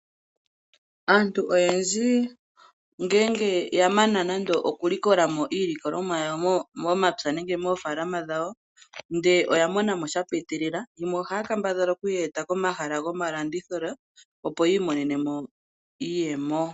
Aantu oyendji ngele ya mana okulikola mo iilikolomwa yawo momapya nenge moofalama dhawo, ndele oya mona mo sha piitilila yimwe ohaya kambadhala okuyi fala komahala gomalandithilo, opo yi imonene mo iiyemo.